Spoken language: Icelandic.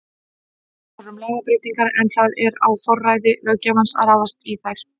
Þú talar um lagabreytingar en það er á forræði löggjafans að ráðast í þær?